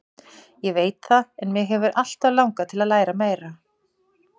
Ég veit það en mig hefur alltaf langað til að læra meira.